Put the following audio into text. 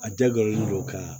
A jagoyalen don ka